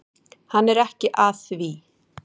Hann er ekki að því.